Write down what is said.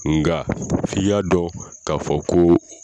Nka fi k'a dɔn k'a fɔ ko